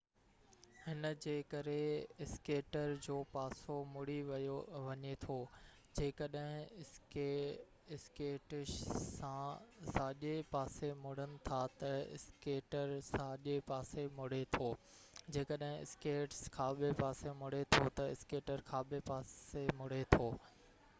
هن جي ڪري اسڪيٽر جو پاسو مُڙي وڃي ٿو جيڪڏهن اسڪيٽس ساڄي پاسي مُڙن ٿا تہ اسڪيٽر ساڃي پاسي مُڙي ٿو جيڪڏهن اسڪيٽس کاٻي پاسي مُڙي ٿو تہ اسڪيٽر کاٻي پاسي مُڙي ٿو